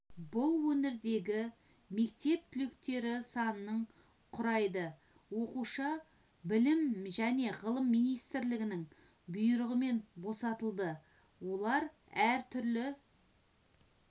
бұл өңірдегі мектеп түлектері санының құрайды оқушы білім және ғылым министрлігінің бұйрығымен босатылды олар әр түрлі